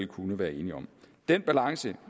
kunne være enige om den balance